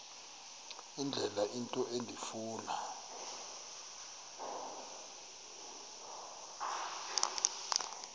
indlela into endifuna